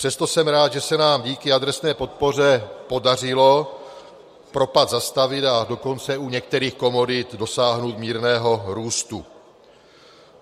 Přesto jsem rád, že se nám díky adresné podpoře podařilo propad zastavit, a dokonce u některých komodit dosáhnout mírného růstu.